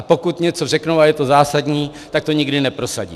A pokud něco řeknou a je to zásadní, tak to nikdy neprosadí.